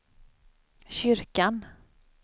kyrkan